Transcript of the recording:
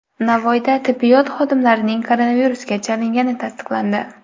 Navoiyda tibbiyot xodimlarining koronavirusga chalingani tasdiqlandi.